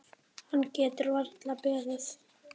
Hann getur varla beðið.